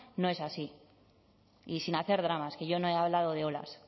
no es así y sin hacer dramas que yo no he hablado de olas